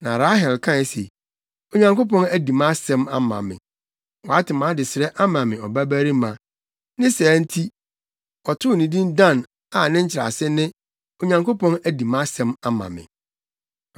Na Rahel kae se, “Onyankopɔn adi mʼasɛm ama me. Wate mʼadesrɛ ama me ɔbabarima.” Ne saa nti, ɔtoo no din Dan a ne nkyerɛase ne, “Onyankopɔn adi mʼasɛm ama me.”